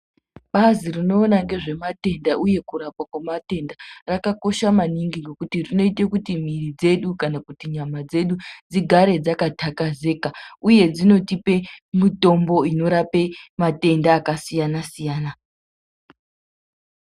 Bazi rinoona nezvematenda uye kurapwa nezvematenda rakakosha maningi ngekuti rinoita kuti mwiri dzedu kana nyama dzedu dzigare dzakatakazika uye dzinotipa mitombo inorapa matenda akasiyana siyana.